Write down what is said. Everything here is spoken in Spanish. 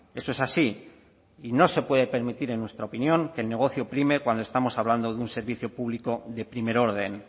eso es así y no se puede permitir en nuestra opinión que el negocio prime cuando estamos hablando de un servicio público de primer orden